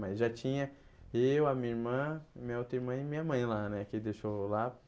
Mas já tinha eu, a minha irmã, minha outra irmã e minha mãe lá, né, que ele deixou lá.